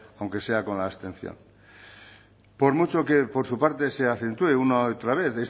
aunque sea con la abstención por mucho que por su parte se acentúe una y otra vez